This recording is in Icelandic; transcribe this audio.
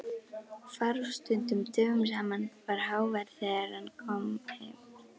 Hvarf stundum dögum saman, var hávær þegar hann kom heim.